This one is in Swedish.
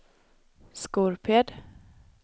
Skorped